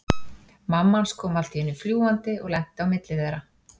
Mamma hans kom allt í einu fljúgandi og lenti á milli þeirra.